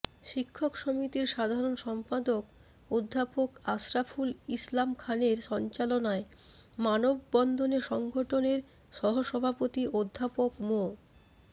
শিক্ষক সমিতির সাধারণ সম্পাদক অধ্যাপক আশরাফুল ইসলাম খানের সঞ্চালনায় মানববন্ধনে সংগঠনের সহসভাপতি অধ্যাপক মো